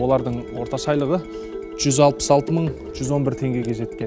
олардың орташа айлығы жүз алпыс алты мың жүз он бір теңгеге жеткен